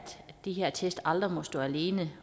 de her test aldrig må stå alene